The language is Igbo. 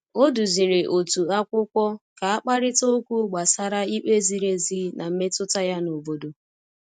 O duziri otu akwụkwọ ka a kparịta okwu gbasara ikpe ziri ezi na mmetụta ya n’obodo.